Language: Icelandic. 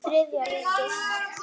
Þriðja ríkið.